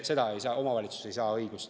Seda õigust omavalitsus ei saa.